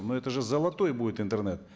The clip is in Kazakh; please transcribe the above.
но это же золотой будет интернет